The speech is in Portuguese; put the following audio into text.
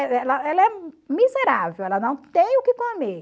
ela é miserável, ela não tem o que comer.